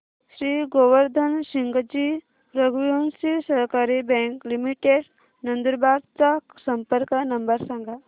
श्री गोवर्धन सिंगजी रघुवंशी सहकारी bank limited Nandurbar चा संपर्क नंबर सांगा